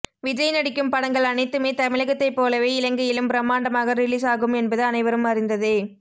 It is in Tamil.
விஜய் நடிக்கும் படங்கள் அனைத்துமே தமிழகத்தை போலவே இலங்கையிலும் பிரமாண்டமாக ரிலீஸ் ஆகும் என்பது அனைவரும் அறிந்ததே